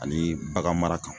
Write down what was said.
Ani baganmara kan